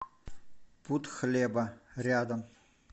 пуд хлеба рядом